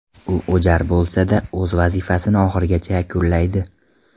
U o‘jar bo‘lsa-da, o‘z vazifasini oxirigacha yakunlaydi.